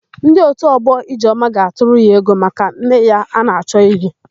Ndị òtù ọgbọ Ijeọma ga-atụrụ ya ego maka nne ya a na-achọ ili.